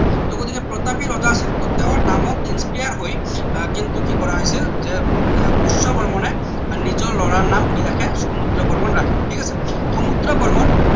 টৌ গতিকে প্ৰতাপী ৰজা আছিল তেওঁৰ নামত inspire হৈ আহ কিন্তু কি কৰা হৈছিল যে উম পুষ্য বৰ্মনে নিজৰ লৰা নাম কি ৰাখে সমুদ্ৰ বৰ্মন ৰাখে ঠিক আছে সমুদ্ৰ বৰ্মন